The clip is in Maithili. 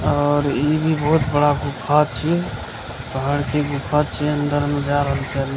और ई भी बहुत बड़ा गुफा छीये पहाड़ के गुफा छीये अंदर में जा रहल छै ।